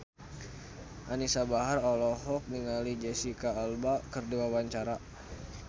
Anisa Bahar olohok ningali Jesicca Alba keur diwawancara